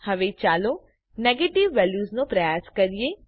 હવે ચાલો નેગેટીવ વેલ્યુઝનો પ્રયાસ કરીએ